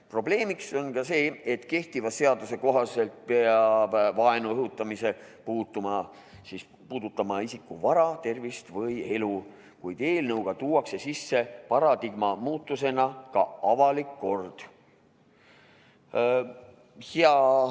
Probleemiks on ka see, et kehtiva seaduse kohaselt peab vaenu õhutamine puudutama isiku elu, tervist või vara, kuid eelnõuga tuuakse paradigma muutusena sisse ka avalik kord.